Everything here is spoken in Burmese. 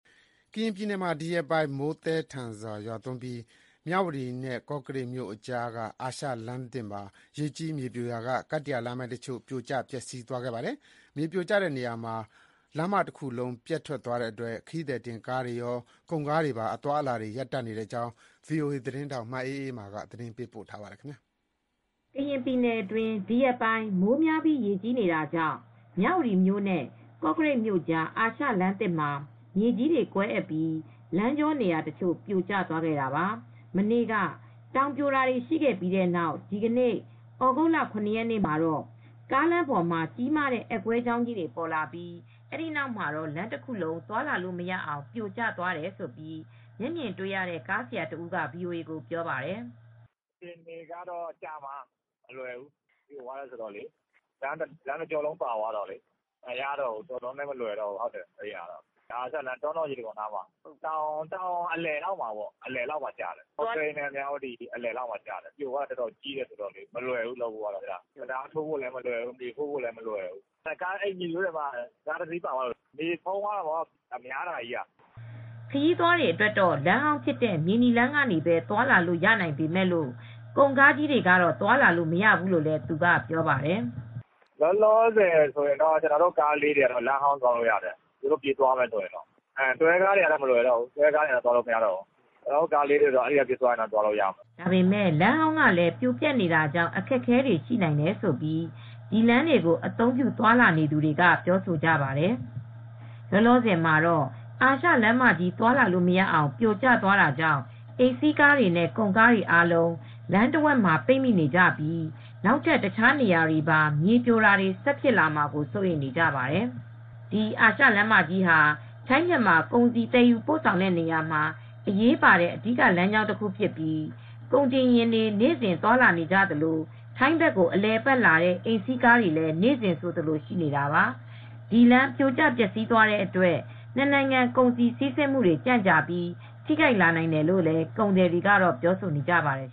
ကရင်ပြည်နယ်မှာ ဒီရက်ပိုင်း မိုးသည်းသည်းထန်ထန်ရွာပြီး မြဝတီမြို့နဲ့ ကောကရိတ်မြို့ကြား အာရှလမ်းသစ်မှာ ရေကြီး မြေပြိုရာက ကတ္တရာလမ်းပိုင်းတချို့ ပြိုကျ ပျက်စီးသွားပါတယ်။ မြေပြိုကျတဲ့နေရာမှာ လမ်းမတခုလုံး ပျက်စီးသွားတဲ့အတွက် ခရီးသည်တင် ကားတွေရော၊ ကုန်ကားတွေပါ အသွားအလာတွေ ရပ်တန့်နေတဲ့အကြောင်း ဗွီအိုအေ မြန်မာသတင်းထောက် မအေးအေးမာက သတင်းပေးပို့ထားပါတယ်။ ကရင်ပြည်နယ်အတွင်း ဒီရက်ပိုင်း မိုးများကြီး ရေကြီးနေတာကြောင့် မြဝတီမြို့နဲ့ ကောကရိတ်မြို့ကြား အာရှလမ်းသစ်မှာ မြေကြီးတွေ ကွဲအက်ပြီး လမ်းကြောနေရာတချို့ ပြိုကျသွားခဲ့တာပါ။ မနေ့က တောင်ပြိုတာတွေ ရှိခဲ့ပြီးတဲ့နောက် ဒီနေ့ သြဂုတ်၇ ရက်နေ့မှာတော့ ကားလမ်းပေါ်မှာ ကြီးမားတဲ့ အက်ကွဲကြောင်းကြီးတွေ ပေါ်လာပြီး အဲ့ဒီနောက်မှာတော့ လမ်းတခုလုံး သွားလာလို့မရအောင် ပြိုကျ သွားခဲ့တယ်လို့ မျက်မြင်တွေ့ရတဲ့ ကားဆရာတဦးက ဗွီအိုအေကို ပြောပြပါတယ်။ "အခြေအနေကတော့ ကြာမှာ။ မလွယ်ဘူး။ ပြိုပျက်တာ လမ်းတကြောလုံး ပါသွားလို့လေ မလွယ်တော့ဘူး။ တောနော် ရေတံခွန်နားမှာလေ တောင်အလယ်လောက်မှာ ကျတယ်။ ကော့ကရိတ် နဲ့ မြဝတီကြားကလေ။ ပြိုသွားတာက အတော်ကြီး အတော်များတော့ တံတားထိုးဖို့လည်း မလွယ်ဘူး မြေဖို့ ဖို့လည်း မလွယ်ဘူး။ လောလောဆယ် ကားတစီးထိုးကျတယ်။ ရေဖုံးသွားတာ များတယ်ဆိုတော့။" ခရီးသွားတွေအတွက် လမ်းဟောင်းဖြစ်တဲ့ မြေနီလမ်းကနေပဲ သွားလာလို့ ရနိုင်ပေမဲ့လို့ ကုန်ကားကြီးတွေ ကတော့ သွားလာလို့ မရဘူးလို့လည်း သူက ပြောပါတယ်။ "ကျနော်တို့ ကားလေးတွေကတော့ လမ်းဟောင်းကနေ သွားလို့ရတယ်။ ဒါပေမဲ့ တွဲကားတွေကတော့ မလွယ်ဘူး။ သွားလို့ မရဘူး။ ကျနော်တို့ ကားငယ်တွေကို လမ်းဟောင်းက ပေးသွားမယ်ဆိုရင်တော့ သွားလို့ရတယ်။" ဒါပေမဲ့ လမ်းဟောင်းကလည်း ပြိုပျက်နေတာကြောင့် အခက်အခဲတွေ ရှိနိုင်တယ်လို့ ဒီလမ်းတွေကို အသုံးပြု သွားလာနေသူတွေက ပြောဆိုကြပါတယ်။ လောလောဆယ်မှာတော့ အာရှလမ်းမကြီး သွားလာလို့မရအောင် ပြိုကျသွားတာကြောင့် အိမ်စီးကားတွေနဲ့ ကုန်ကားတွေ အားလုံး လမ်းတဝက်မှာ ပိတ်မိနေကြပြီး နောက်ထပ် တခြား နေရာတွေမှာပါ မြေပြိုတာတွေ ဖြစ်လာမှာကို စိုးရိမ်နေကြပါတယ်။ ဒီ အာရှလမ်းမကြီးဟာ ထိုင်း - မြန်မာ ကုန်စည် သယ်ယူ ပို့ဆောင်မှုတွေမှာ အရေးပါတဲ့ အဓိက လမ်းကြောင်းတခုဖြစ်ပြီး ကုန်တင်ယာဥ်တွေ နေ့စဉ် သွားလာနေကြသလို၊ ထိုင်းဘက်ကို အလည်အပတ်လာတဲ့ အိမ်စီးကားတွေလည်း နေ့စဥ်ဆိုသလို ရှိနေတာပါ။ ဒီလမ်း ပြိုကျ ပျက်စီးသွားတဲ့အတွက် နှစ်နိုင်ငံ ကုန်စည် စီးဆင်းမှုတွေ ကြန့်ကြာပြီး ထိခိုက်လာနိုင်တယ်လို့ ကုန်သည်တွေကလည်း ပြောဆိုနေကြပါတယ်